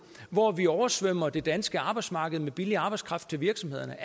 hvor vi oversvømmer det danske arbejdsmarked med billig arbejdskraft til virksomhederne